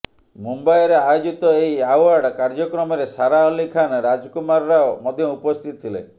ମୁମ୍ବାଇରେ ଆୟୋଜିତ ଏହି ଆଓ୍ୱାର୍ଡ କାର୍ଯ୍ୟକ୍ରମରେ ସାରା ଅଲ୍ଲୀ ଖାନ୍ ରାଜକୁମାର ରାଓ ମଧ୍ୟ ଉପସ୍ଥିତ ଥିଲେ